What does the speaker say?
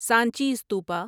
Sanchi Stupa